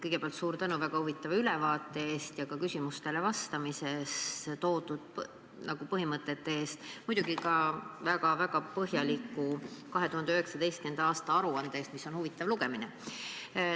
Kõigepealt suur tänu väga huvitava ülevaate ja küsimustele vastamisel esitatud põhimõtete eest, muidugi ka väga põhjaliku 2019. aasta aruande eest, mis on huvitav lugemine.